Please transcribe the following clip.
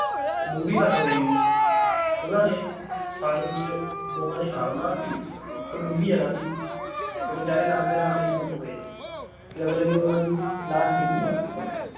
ਡੂੰਗੀ ਘੱਟ ਹੋਏੇਗੀ ਉਹਨਾਂ ਨੇ ਪਾਣੀ ਵਿਚ ਦੋਹਾਂ ਨੇ ਛਾ ਮਾਰਤੀ ਉਹ ਡੂੰਗੀ ਜ਼ਿਆਦਾ ਸੀ ਤੇ ਬੇਚਾਰੇ ਨਹਾਂਦੇ ਨਹਾਂਦੇ ਹੀ ਡੁੱਬ ਗਏ ਤੇ ਅਗਲੇ ਦਿਨ ਉਹਨਾਂ ਦੀ ਲਾਸ਼ ਮਿਲੀ